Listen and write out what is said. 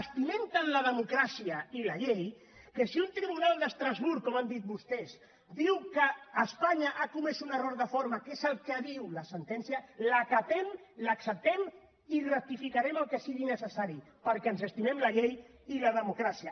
estimem tant la democràcia i la llei que si un tribunal d’estrasburg com han dit vostès diu que espanya ha comès un error de forma que és el que diu la sentència l’acatem l’acceptem i rectificarem el que sigui necessari perquè ens estimem la llei i la democràcia